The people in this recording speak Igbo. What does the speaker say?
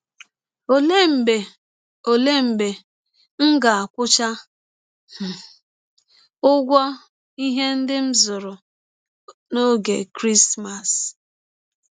Ọlee mgbe Ọlee mgbe m ga - akwụcha um ụgwọ ihe ndị m zụrụ n’ọge Krismas? ’